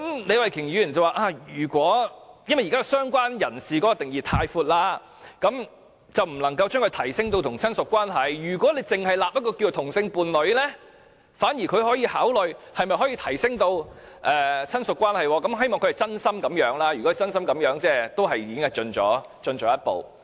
李慧琼議員表示，由於現時"相關人士"的定義過闊，所以不能將"相關人士"提升至與親屬關係同等級別，如果訂立"同性伴侶"一項，她反而可考慮可否提升至與親屬關係同等級別，如果她真心這樣想，也算是躍進了一步。